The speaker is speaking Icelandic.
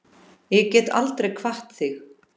Ég get aldrei kvatt þig.